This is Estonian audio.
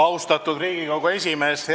Lugupeetud Riigikogu esimees!